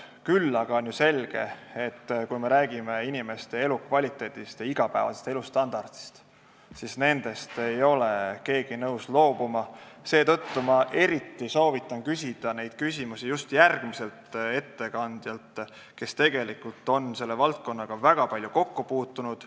Küll aga on ju selge, et kui me räägime inimeste elukvaliteedist ja igapäevasest elustandardist, siis nendest ei ole keegi nõus loobuma, seetõttu ma soovitan küsida neid küsimusi just järgmiselt ettekandjalt, kes on selle valdkonnaga väga palju kokku puutunud.